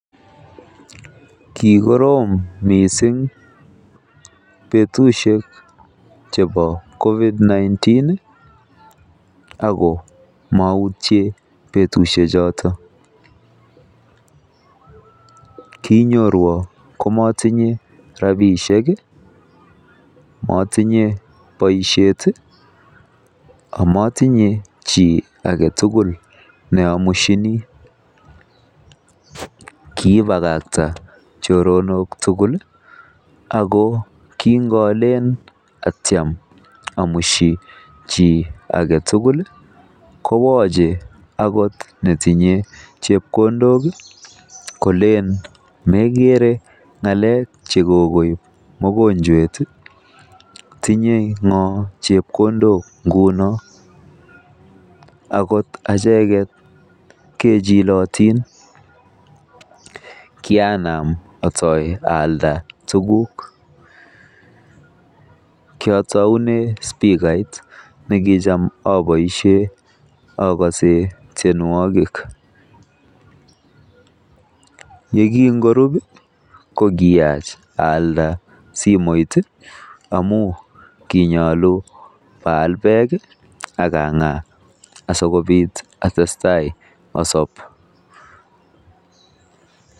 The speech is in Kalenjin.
Kikorom missing betusiek chebo COVID-19 ih Ako mautye betusiek choto, kinyorwan komatinye rabisiek ih, matinye boisiet ih , Ako matinye ki agetugul neamusieni kiibagkakta choronok tugul ih , Ako kingoale. Atiem amushi chi agetugul kowache , akot netinye chebkondok ih , kole en megere ng'alek chekoib mogonchwet ih , tinye Ng'o chebkondok inguni ingunon ih agot achek et kechilotin kianam ase aalda tuguk kiataunee stika agose tienuokik yegingorup ih kokiach alda simoit ih konyalu aal bek ih akang'aa asikobit atestai asob